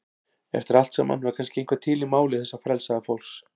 Eftir allt saman var kannski eitthvað til í máli þessa frelsaða fólks.